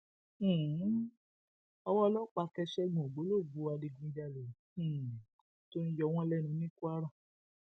um owó ọlọpàá tẹ ṣẹgun ògbólógbòó adigunjalè um tó ń yọ wọn lẹnu ní kwara